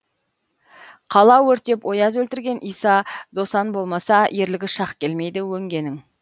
қала өртеп ояз өлтірген иса досан болмаса ерлігі шақ келмейді өңгенің